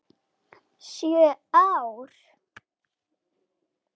Sjö ár?